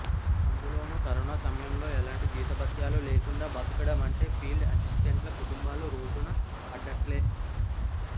అందులోనూ కరోనా సమయంలో ఎలాంటి జీతభత్యాలు లేకుండా బతకడం అంటే ఫీల్డ్ అసిస్టెంట్ల కుటుంబాలు రోడ్డున పడ్డట్లే